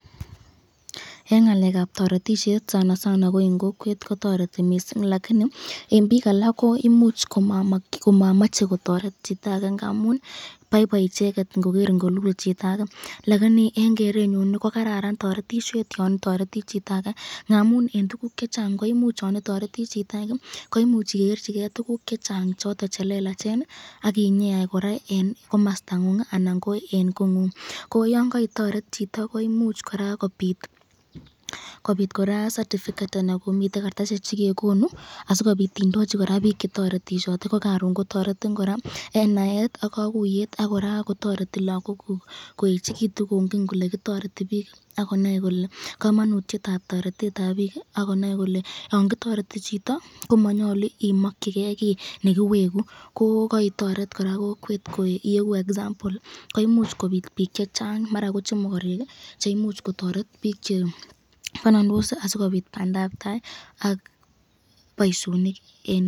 Eng ngalekab toretishet eng kokwet kotareti mising, lakini eng bik alak koimuch komamach kotoret chitake ngamun boiboi icheket ingoger kolul chitake, lakini eng kerenyun kokararan toretishet yon itareti chitake, ngamun eng tukuk chechang koimuch yon itareti chitake igerchini ken tukuk chechang choton chelelachen akinyeyai kora komastangu anan ko eng kongung, ko yon kaitoret chito koimuch koraa kobit kartasishek chekekonu sikobit indochi bik chetoretishote , ko karon kotoretin koraa eng naet ak kakuyet koraa kotoreti lagokuk koechikitun kongen kole kitoreti bik akonai kamanutyetab toretetab bik, ko manyalu imakyiken kiy nekiweku ,akonai bik chechang toretishet akobit bandabtai ak boisyonik.